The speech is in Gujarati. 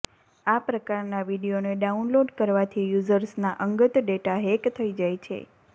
આ પ્રકારના વીડિયોને ડાઉનલોડ કરવાથી યૂઝર્સના અંગત ડેટા હેક થઈ જાય છે